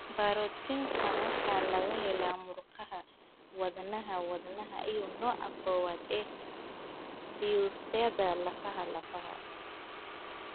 Borootiinkan waxaa laga helaa murqaha wadnaha (wadnaha) iyo nooca kowaad ee fiyuusyada lafaha lafaha.